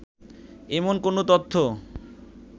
এমন কোনো তথ্য